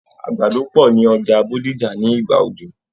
Àgbàdo pọ̀ ní Ọjà Bódìjà ní ìgbà òjò.